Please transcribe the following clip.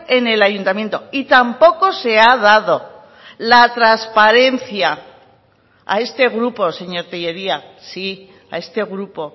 en el ayuntamiento y tampoco se ha dado la transparencia a este grupo señor tellería sí a este grupo